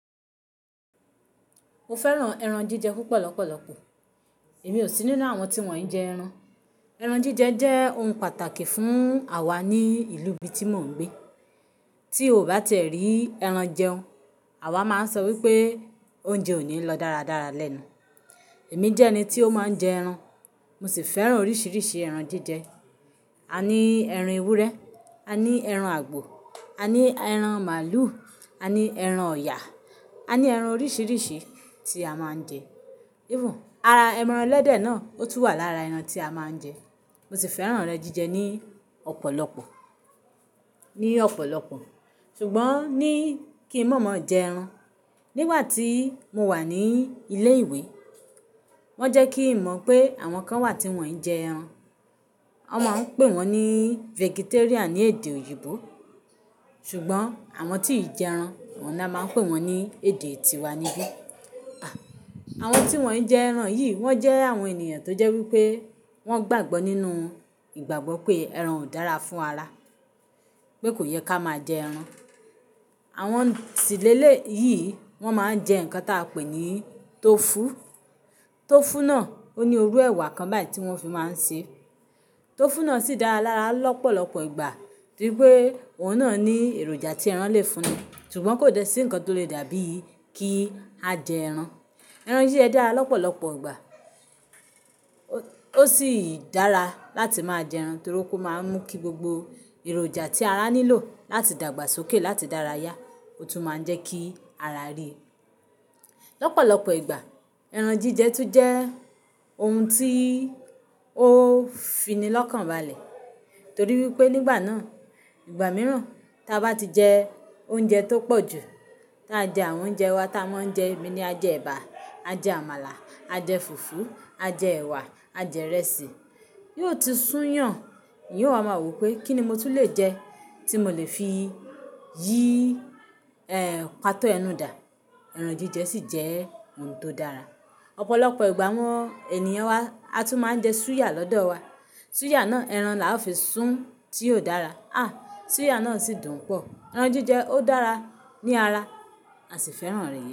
Mo fẹ́ràn ẹran jíjẹ púpọ̀ lọ́pọ̀lọpọ̀. Èmi ò sí nínú àwọn tí wọ́n i jẹ ẹran. Ẹran jíjẹ jẹ́ ohun pàtàkì fún àwa ní ìlú ibi tí mò ń gbé. Tí o bá ti rí ẹran jẹun, àwa máa ń sọ wípé oúnjẹ ò ní lọ dáradára lẹ́nu. Èmi jẹ́ ẹni tí ó máa ń jẹ ẹran. Mo sì fẹ́ràn oríṣiríṣi ẹran jíjẹ. A ní ẹran ewúrẹ́, a ní ẹran àgbò, a ní ẹran màlúù, a ní ẹran ọ̀yà, a ní ẹran oríṣiríṣi tí a máa ń jẹ. Even ara ẹran ẹlẹ́dẹ̀ náà ó tún wà lára ẹran tí a máa ń jẹ. Mo sì fẹ́ràn rẹ jíjẹ ní ọ̀pọ̀lọpọ̀, ní ọ̀pọ̀lọpọ̀. Ṣùgbọ́n ní kí mọ́ mọ́ jẹ ẹran. Nígbà tí mo wà ní ilé ìwé, wọ́n jẹ́ kí n mọ̀ pé àwọn kan wà tí wọ́n i jẹ ẹran. Wọ́n máa ń pè wọ́n ní vegetarian ní èdè òyìnbó. Ṣùgbọ́n àwọn tí ì jẹ ẹran, ọ̀un nà máa ń pè wọ́n ní èdè tiwa níbí. À, àwọn tí wọ́n i jẹ ẹran yìí wọ́n jẹ́ àwọn ènìyàn tó jẹ́ wípé wọ́n gbàgbọ́ nínú ìgbàgbọ́ pé ẹran ò dára fún ara. Pé kò yẹ ká máa jẹ ẹran. Àwọn si lẹ̀lẹ̀ yìí, wọ́n máa ń jẹ nǹkan tí a pè ní tọfu. Tọfu náà ó ní orú ẹ̀wà kan báyìí tí wọ́n fi máa ń ṣe é. Tọfu náà sì dára lára lọ́pọ̀lọpọ̀ ìgbà, torí pé òun náà ní èròjà tí ẹran lè fúnni, ṣùgbọ́n kò dẹ sí ǹkan tó lè dàbí kí a jẹ ẹran. Ẹran jí jẹ́ dára lọ́pọ̀lọpọ̀ ìgbà. Ó sì dára láti máa jẹ ẹran torí pé ó máa ń mú kí gbogbo èròjà tí ara nílò láti dàgbàsókè láti dára yá. Ó tún máa ń jẹ́ kí ara re. Lọ́pọ̀lọpọ̀ ìgbà ẹran jíjẹ tún jẹ́ ohun tí ó finilọ́kàn balẹ̀. Torí wípé nígbà náà, ìgbà mìíràn ta bá ti jẹ oúnjẹ tó pọ̀ jù, ta jẹ àwọn oúnjẹ wa ta máa ń jẹ, èmi ni a jẹ ẹ̀bà, a jẹ àmàlà, a jẹ fùfú, a jẹ ẹ̀wà, a jẹ'rẹsì, yóò ti sún yàn. Yíò máa wí pé kí ni mo tún le jẹ tí mo lè fi yí, ẹ́, pàtó ẹnu dà. Ẹran jíjẹ sì jẹ́ ohun tó dára. Ọ̀pọ̀lọpọ̀ ìgbà àwọn ènìyàn wa a tún máa ń jẹ súyà lọ́dọ̀ wa. Súyà náà ẹran la fi sún tí ò dára. À, súyà náà sì dùn pọ̀. Ẹran jíjẹ ó dára ní ara, a sì fẹ́ràn rẹ̀.